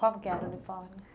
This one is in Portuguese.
Como que era o uniforme?